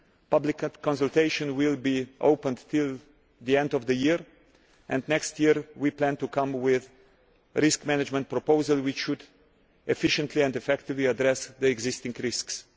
The public consultation will be open until the end of the year and next year we plan to come with a risk management proposal which should efficiently and effectively address the existing risks.